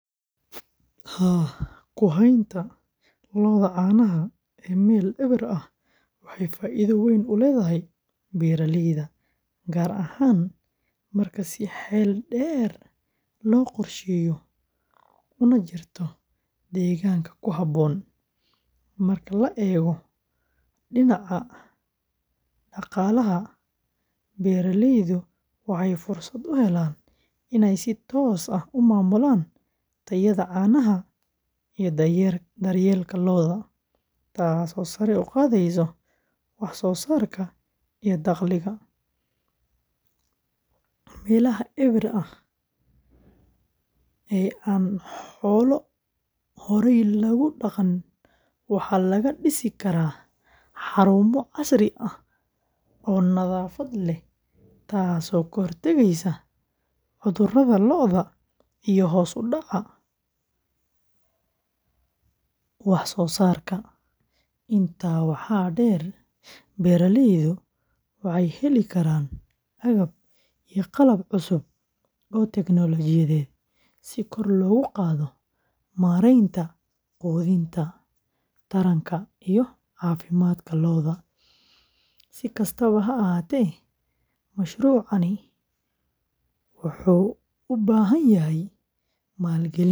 Kuhenta loodha canaha ee Mel ewer aah wexey faidho uledhahy beraleydha garahan marka si xeldher loqor shego unajirto deeganga kuhabon marka laego dinaca daqalaha beraleydhu waxey furmesad uhelan iney si toos aah umamulan teyadha canaha dhar yelka canaha loodha taso sare uqadheso wax sosarka iyo daqliga melaha ewer aah ee an xolo horey logudaqan waxa lagadisi kara xarumo casriya nadhafad leeh taso kahor tagesa cudhuradha iyo hos udaca wax sosarka inta waxa dher beraleydhu waxey helikaran aagab cusub Oo technology si kor logu qadho marenta qudhinta taranka iyo cafimadka loodha sikastaba haahate mashrucani wuxu ubahanyahy malgalin